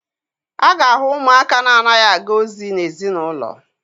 A ga-ahụ ụmụaka na-anaghị aga ozi n'ezinaụlọ.